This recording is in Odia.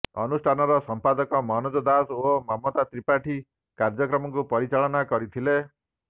ଅନୁଷ୍ଠାନର ସଂପାଦକ ମନୋଜ ଦାସ ଓ ମମତା ତ୍ରିପାଠୀ କାର୍ଯ୍ୟକ୍ରମକୁ ପରିଚାଳନା କରିଥିଲେ